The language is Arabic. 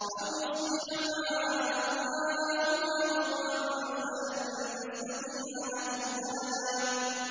أَوْ يُصْبِحَ مَاؤُهَا غَوْرًا فَلَن تَسْتَطِيعَ لَهُ طَلَبًا